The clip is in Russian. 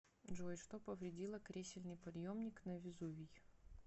джой что повредило кресельный подъемник на везувий